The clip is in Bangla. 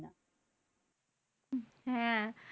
হ্যাঁ